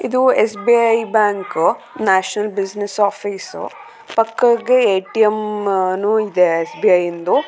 ಇದಿ S B I bank ನೇಷನಲೆ business office ಪಕ್ಕಗೆ ಏ ಟಿ ಎಮ್ ನು ಇದೆ ಎಸ್ಸ್ ಬಿ ಐ ದು.